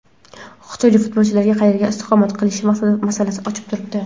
Xitoylik futbolchilarning qayerda istiqomat qilishi masalasi ochiq turibdi.